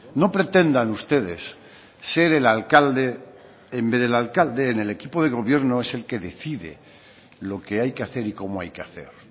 no pretendan ustedes ser el alcalde en vez del alcalde en el equipo de gobierno es el que decide lo que hay que hacer y cómo hay que hacer